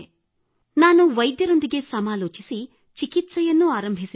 ಅದರೊಂದಿಗೆ ನಾನು ವೈದ್ಯರೊಂದಿಗೆ ಸಮಾಲೋಚಿಸಿ ಚಿಕಿತ್ಸೆಯನ್ನೂ ಆರಂಭಿಸಿದೆ